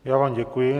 Já vám děkuji.